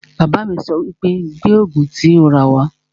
Bàbá mi sọ wípé 'Gbé Ògùn tí o rà wá'